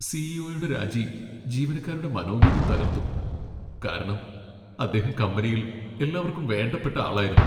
C. E. ഒയുടെ രാജി ജീവനക്കാരുടെ മനോവീര്യം തകർത്തു, കാരണം അദ്ദേഹം കമ്പനിയിൽ എല്ലാവർക്കും വേണ്ടപ്പെട്ട ആളായിരുന്നു .